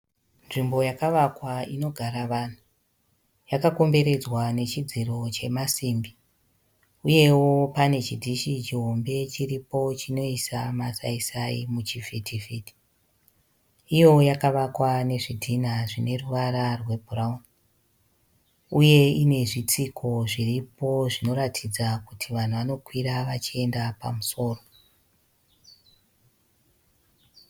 Nzvimbo yakavakwa inogara vanhu. Yakakomberedzwa nechidziro chemasimbi. Uyewo pane chindhishi chihombe chiripo chinoisa masai sai muchivhiti vhiti. Uyewo yakavakwa ne zvidhinha zvineruvara rwe bhurauni . Uye ine zvitsiko zviripo zvinoratidza kuti vanhu vanokwira vachienda pamusoro .